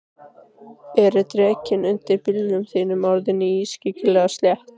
Eru dekkin undir bílnum þínum orðin ískyggilega slétt?